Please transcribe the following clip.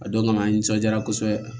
A don kama an nisɔndiyara kosɛbɛ